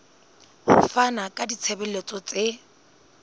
ho fana ka ditshebeletso tse